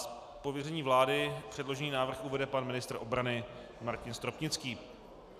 Z pověření vlády předložený návrh uvede pan ministr obrany Martin Stropnický.